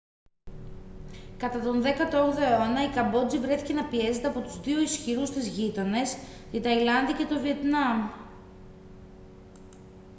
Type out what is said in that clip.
κατά τον 18ο αιώνα η καμπότζη βρέθηκε να πιέζεται από τους δύο ισχυρούς της γείτονες την ταϊλάνδη και το βιετνάμ